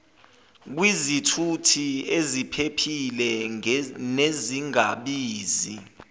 kwizithuthi eziphephile nezingabizi